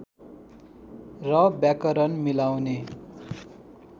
र व्याकरण मिलाउने